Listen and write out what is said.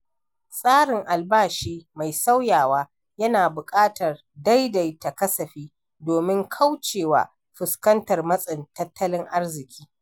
Tsarin albashi mai sauyawa yana buƙatar daidaita kasafi domin kaucewa fuskantar matsin tattalin arziki.